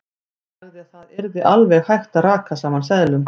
Hann sagði að það yrði alveg hægt að raka saman seðlum.